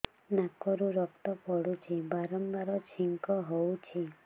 ନାକରୁ ରକ୍ତ ପଡୁଛି ବାରମ୍ବାର ଛିଙ୍କ ହଉଚି